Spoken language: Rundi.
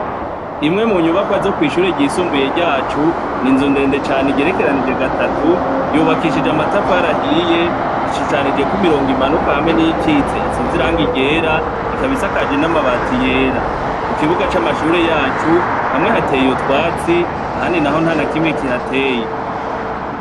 Imwe munyubakwa zo kw'ishure ryisumbuye ryacu, ni inzu ndende cane igerekeranije gatatu, yubakishije amatafari ahiye, ishushanijeko imirongo imanuka hamwe n'iyikitse isize irangi ryera, ikaba isakaje n'amabati yera. Mukibuga c'amashure yacu, hamwe hateye utwatsi, ahandi naho ntanakimwe kihateye.